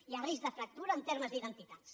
hi ha risc de fractura en termes d’identitats